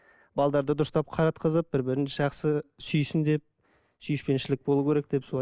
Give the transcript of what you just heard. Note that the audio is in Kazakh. дұрыстап қаратқызып бір бірін жақсы сүйсін деп сүйіспеншілік болу керек деп солай